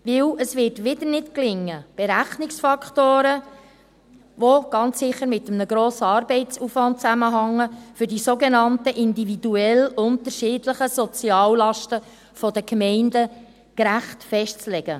Denn es wird wieder nicht gelingen, Berechnungsfaktoren, die ganz sicher mit einem grossen Arbeitsaufwand zusammenhängen, für die sogenannten individuell unterschiedlichen Soziallasten der Gemeinden gerecht festzulegen.